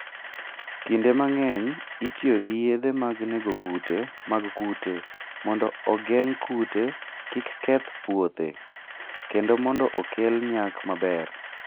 Kinde mang'eny, itiyo gi yedhe mag nego kute mag kute mondo ogeng' kute kik keth puothe, kendo mondo okel nyak maber.